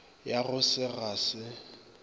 ya go se ga se